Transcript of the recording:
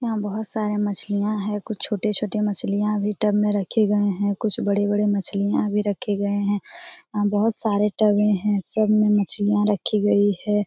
यहाँ बोहोत सारे मछलियां है। कुछ छोटे-छोटे मछलियां भी टब में रखे गए है। कुछ बड़े-बड़े मछलियां भी रखे गए है और बोहोत सारे टबे है। सबमें मछलियां रखी गई है।